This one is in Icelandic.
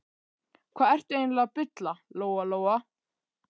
Hvað ertu eiginlega að bulla, Lóa Lóa?